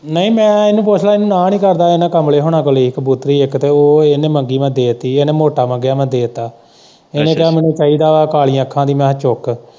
ਨਹੀਂ ਮੈਂ ਇਹਨੂੰ ਪੁੱਛ ਲੈ ਇਹਨੂੰ ਨਾ ਨੀ ਕਰਦਾ ਇਹਨੂੰ ਕਮਲੀ ਹੋਣਾ ਤੋਂ ਲਈ ਕਬੂਤਰੀ ਇੱਕ ਤੇ ਉਹ ਇਹਨੇ ਮੰਗੀ, ਮੈਂ ਦੇ ਤੀ ਇਹਨੇ ਮੋਟਾ ਮੰਗਿਆ ਮੈਂ ਦੇ ਤਾਂ ਇਹ ਨੇ ਕਿਹਾ, ਮੈਨੂੰ ਕਿਹਾ ਮੈਨੂੰ ਚਾਹੀਦਾ ਏ ਕਾਲ਼ੀਆ ਅੱਖਾਂ ਵਾਲ਼ੀ ਮੈਂ ਕਿਹਾ ਚੁੱਕ।